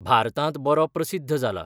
भारतांत बरो प्रसिद्ध जाला.